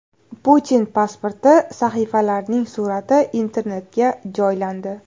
Putin pasporti sahifalarining surati Internetga joylandi.